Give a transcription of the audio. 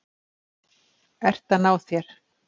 Ert að ná þér.